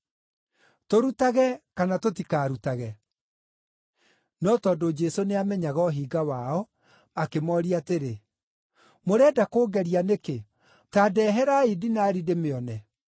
Tũrutage kana tũtikarutage?” No tondũ Jesũ nĩamenyaga ũhinga wao, akĩmooria atĩrĩ, “Mũrenda kũngeria nĩkĩ? Ta ndeherai dinari ndĩmĩone.”